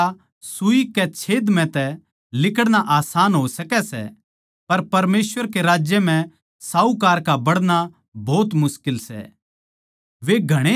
ऊँट का सूई कै छेद म्ह तै लिकड़ना आसन हो सकै सै पर परमेसवर के राज्य म्ह साहूकार का बड़णा भोत मुश्किल सै